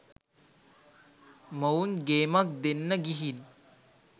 මොවුන් ගේමක් දෙන්න ගිහින්